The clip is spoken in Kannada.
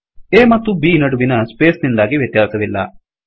A ಮತ್ತು B ನಡುವಿನ ಸ್ಪೇಸ್ ನಿಂದಾಗಿ ವ್ಯತ್ಯಾಸವಿಲ್ಲ